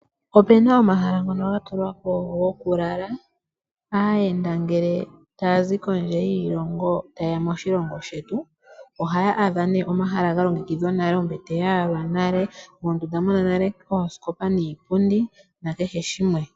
Opuna omahala ngono ga tulwa go ku lala aayenda ngele ta ya zi kondje yoshilongo taya eya moshilongo shetu. Ohaya adha nale omahala ga longekidhwa ombete ya yalwa nale mondunda muna nale oosikopa niipundi na kehe shimwe.